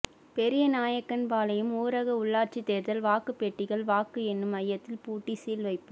பெரியநாயக்கன்பாளையம் ஊரக உள்ளாட்சி தோ்தல் வாக்கு பெட்டிகள் வாக்கு எண்ணும் மையத்தில் பூட்டி சீல் வைப்பு